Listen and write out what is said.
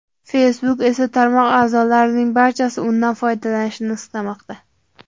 Facebook esa tarmoq a’zolarining barchasi undan foydalanishini istamoqda.